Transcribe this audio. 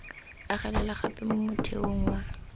agelela gape mo motheong wa